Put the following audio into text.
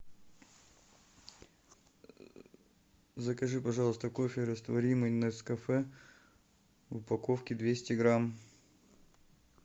закажи пожалуйста кофе растворимый нескафе в упаковке двести грамм